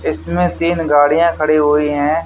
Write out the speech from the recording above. इसमें तीन गाड़ियां खड़ी हुई हैं।